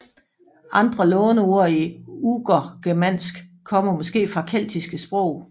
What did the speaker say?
Andre låneord i urgermansk kommer måske fra keltiske sprog